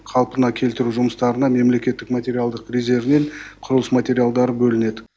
қалпына келтіру жұмыстарына мемлекеттік материалдық резервінен құрылыс материалдары бөлінеді